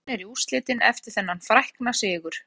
Þjóðverjar því komnir í úrslitin eftir þennan frækna sigur.